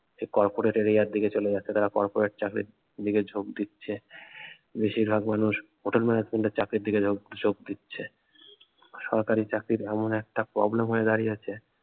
সে corporate area এর দিকে চলে যাচ্ছে তারা corporate চাকরির দিকে ঝোঁক দিচ্ছে বেশিরভাগ মানুষ hotel management এর চাকরির দিকে ঝোক দিচ্ছে সরকারি চাকরির এমন একটা problem হয়ে দাঁড়িয়েছে